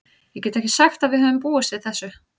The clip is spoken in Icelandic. Ég get ekki sagt að við höfum búist við þessu.